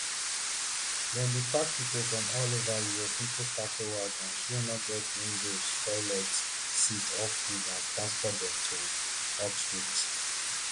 dem bin pack pipo from all ova europe into cattle wagons wey no get windows toilets seats or food and transport dem to auschwitz